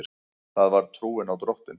Það var trúin á Drottin.